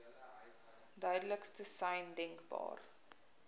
duidelikste sein denkbaar